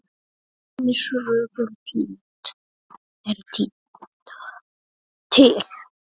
Ýmis rök eru tínd til.